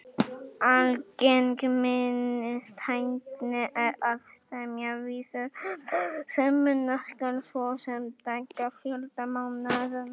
Algeng minnistækni er að semja vísur um það sem muna skal, svo sem dagafjölda mánaðanna.